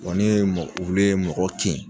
ni ye mɔ, wulu ye mɔgɔ kin